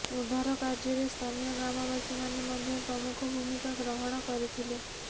ଉଦ୍ଧାର କାର୍ଯ୍ୟରେ ସ୍ଥାନୀୟ ଗ୍ରାମବାସୀ ମାନେ ମଧ୍ୟ୍ୟ ପ୍ରମୁଖ ଭୁମିକା ଗ୍ରହଣ କରିଥିଲେ